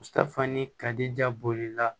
fana kadi ja bolila